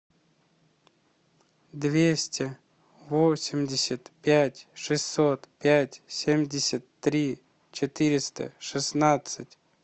двести восемьдесят пять шестьсот пять семьдесят три четыреста шестнадцать